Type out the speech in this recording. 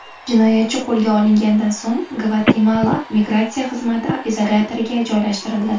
Jinoyatchi qo‘lga olingandan so‘ng Gvatemala migratsiya xizmati izolyatoriga joylashtirildi.